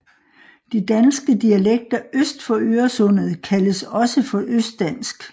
De danske dialekter øst for Øresundet kaldes også for østdansk